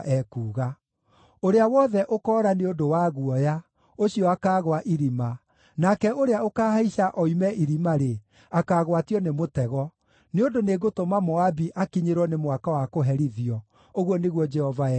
“Ũrĩa wothe ũkoora nĩ ũndũ wa guoya, ũcio akaagũa irima, nake ũrĩa ũkaahaica oime irima-rĩ, akaagwatio nĩ mũtego; nĩ ũndũ nĩngũtũma Moabi akinyĩrwo nĩ mwaka wa kũherithio,” ũguo nĩguo Jehova ekuuga.